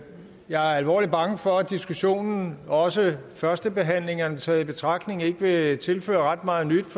jeg er alvorlig bange for at diskussionen også førstebehandlingerne taget i betragtning ikke vil tilføre ret meget nyt